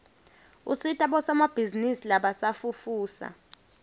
usita bosomabhizinisi labasafufusa